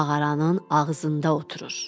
Mağaranın ağzında oturur.